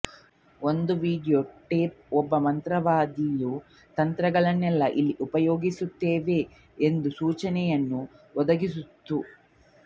ಒಂದು video tape ಒಬ್ಬ ಮಂತ್ರವಾದಿಯ ತಂತ್ರಗಳನ್ನೆಲ್ಲಾ ಇಲ್ಲಿ ಉಪಯೋಗಿಸಲ್ಪಡುತ್ತಿವೆ ಎಂಬ ಸೂಚನೆಯನ್ನು ಒದಗಿಸಿತ್ತು